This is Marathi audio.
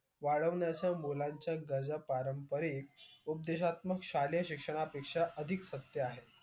वाढवण्याच्या मुलांच्या पारंपरिक उद्देशात्मक शालेय शिक्षा अधिक सत्य आहे